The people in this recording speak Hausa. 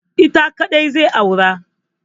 Ita kaɗai zai aura.